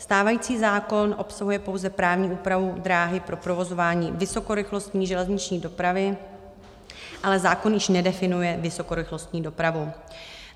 Stávající zákon obsahuje pouze právní úpravu dráhy pro provozování vysokorychlostní železniční dopravy, ale zákon již nedefinuje vysokorychlostní dopravu.